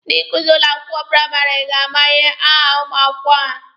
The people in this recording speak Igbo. Ndị nkuzi ụlọ akwụkwọ praịmarị ga-ama aha ụmụ akwụkwọ ha.